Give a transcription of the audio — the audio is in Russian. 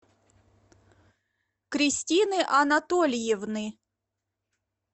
кристины анатольевны